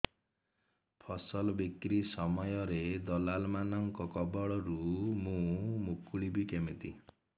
ଫସଲ ବିକ୍ରୀ ସମୟରେ ଦଲାଲ୍ ମାନଙ୍କ କବଳରୁ ମୁଁ ମୁକୁଳିଵି କେମିତି